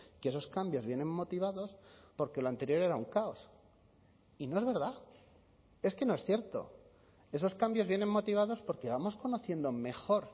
que esos cambios vienen motivados porque el anterior era un caos y no es verdad es que no es cierto esos cambios vienen motivados porque vamos conociendo mejor